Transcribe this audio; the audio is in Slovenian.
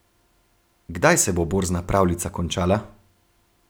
Kdaj se bo borzna pravljica končala?